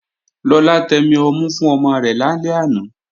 Lọlá tẹmi ọmú fún ọmọ rẹ̀ lálẹ́ àná